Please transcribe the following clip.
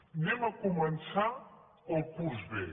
anem a començar el curs bé